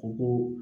Ko